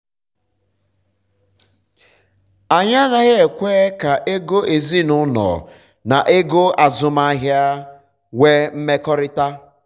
anyị anaghị um ekwe ka um ego ezinụlọ na ego azụmahịa um nwe mmekọta